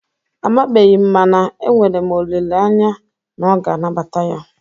Amabeghi m mana enwere m olele anya na ọ ga anabata ya.